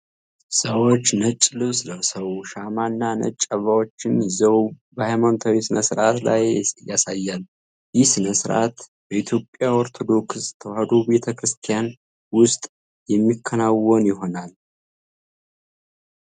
ሰዎች ነጭ ልብስ ለብሰው፣ ሻማና ነጭ አበባዎችን ይዘው በሃይማኖታዊ ሥነ-ሥርዓት ላይ ያሳያል። ይህ ሥነ-ሥርዓት በኢትዮጵያ ኦርቶዶክስ ተዋሕዶ ቤተ ክርስቲያን ውስጥ የሚከናወን ይሆን?